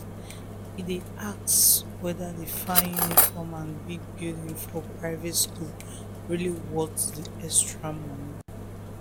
e dey ask whether the fine uniform and big building for private school really worth the extra money.